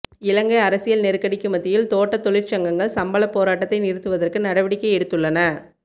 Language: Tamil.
இலங்கை அரசியல் நெருக்கடிக்கு மத்தியில் தோட்டத் தொழிற்சங்கங்கள் சம்பளப் போராட்டத்தை நிறுத்துவதற்கு நடவடிக்கை எடுத்துள்ளன